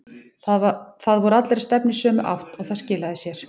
Það voru allir að stefna í sömu átt og það skilaði sér.